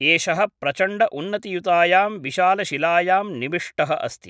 एषः प्रचण्डउन्नतियुतायां विशालशिलायां निविष्टः अस्ति